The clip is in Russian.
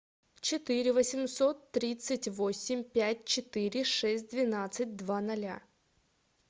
четыре восемьсот тридцать восемь пять четыре шесть двенадцать два ноля